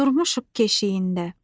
Durmuşuq keşiyində.